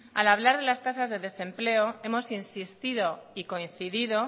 al hablar de las tasas de desempleo hemos insistido y coincidido